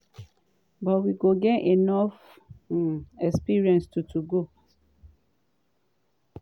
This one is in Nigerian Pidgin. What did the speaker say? but we don gain enough um experience to to go.”